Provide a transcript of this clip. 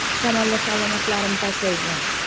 Shamollash alomatlarim pasaygan.